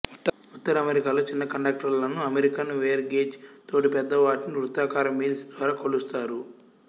ఉత్తర అమెరికాలో చిన్నకండక్టర్లను American wire gauge తోటి పెద్ద వాటిని వృత్తాకార మిల్స్ ద్వారా కొలుస్తారు